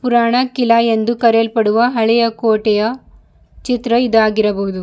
ಪುರಾಣಾಕ್ಕಿಲ ಎಂದು ಕರೆಯಲ್ಪಡುವ ಹಳೆಯ ಕೋಟೆಯ ಚಿತ್ರ ಇದಾಗಿರಬಹುದು.